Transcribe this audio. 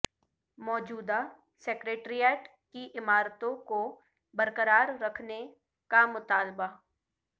موجودہ سکریٹریٹ کی عمارتوں کو برقرار رکھنے کا مطالبہ